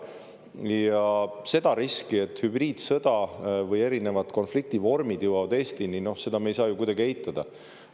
Ja seda riski, et hübriidsõda või erinevad konfliktivormid jõuavad Eestini, me ei saa ju kuidagi eitada.